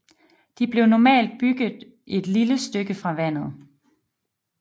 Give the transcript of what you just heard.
De blev normalt bygget et lille stykke fra vandet